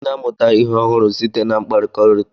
anyị na-amụta ihe ọhụrụ site na mkpakọrịta.